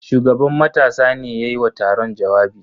Shugaban matasa ne ya yi wa taron jawabi.